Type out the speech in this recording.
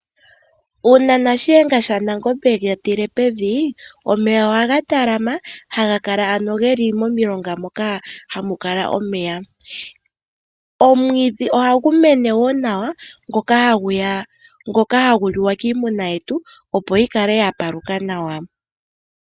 Uuna Shiyenga shaNangombe e ga tile pevi omeya ohaga talama haga kala ano ge li momilonga moka hamu kala omeya. Omwiidhi ohagu mene wo nawa ngoka hagu liwa kiimuna yetu opo yi kale ya paluka nawa.